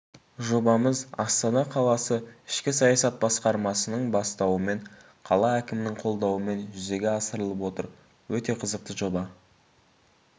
жобамыз астана қаласы ішкі саясат басқармасының бастауымен қала әкімінің қолдауымен жүзеге асырылып отыр өте қызықты жоба